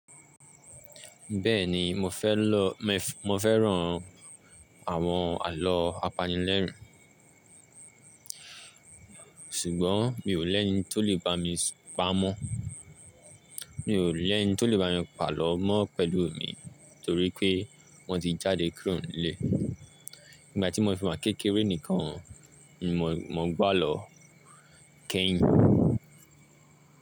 Bẹ́ẹ̀ni mo fẹ́ lọ, mo fẹ́ran àwọn àlọ́ apanilẹ́rìn, ṣùgbọ́n mi ò lẹ́ni tó lè bá mi súnpá mọ́. Mi ò lẹ́ni tó lè bá mi pàlọ́ mọ́ pẹ̀lú mi torí pé wọ́n ti jáde kúrò nílé. Ìgbà tí mo fi máa kékeré nìkan, mo gbá lọ kẹ́yìn.